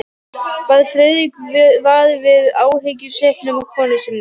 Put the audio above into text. Varð Friðrik var við áhyggjusvipinn á konu sinni?